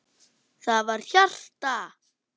Það var hjarta!